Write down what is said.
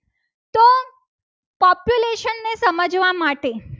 એ સમજવા માટે